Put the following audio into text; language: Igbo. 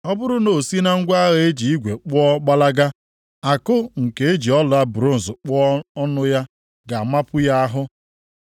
Ọ bụrụ na o si na ngwa agha e ji igwe kpụọ gbalaga, àkụ nke e ji ọla bronz kpụọ ọnụ ya ga-amapu ya ahụ.